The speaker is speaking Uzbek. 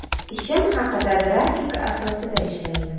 Ishim haqida Grafik asosida ishlaymiz.